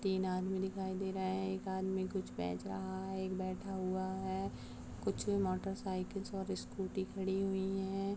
--तीन आदमी दिखाई दे रहा है एक आदमी कुछ बेच रहा है एक बैठा हुआ है कुछ मोटर साइकिल और स्कूटी खड़ी हुई है।